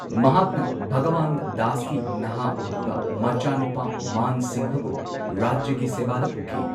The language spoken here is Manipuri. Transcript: ꯃꯍꯥꯛꯅ ꯚꯒꯋꯟꯠ ꯗꯥꯁꯀꯤ ꯅꯍꯥ ꯑꯣꯏꯔꯤꯕ ꯃꯆꯥꯅꯨꯄꯥ ꯃꯥꯟ ꯁꯤꯡꯍꯕꯨ ꯔꯥꯖ꯭ꯌꯒꯤ ꯁꯦꯕꯥꯗ ꯄꯨꯈꯤ꯫